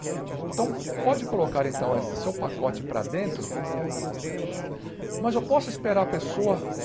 Então, pode colocar então esse seu pacote para dentro, mas eu posso esperar a pessoa?